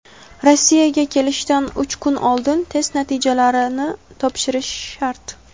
Rossiyaga kelishdan uch kun oldin test natijalarini topshirish shart.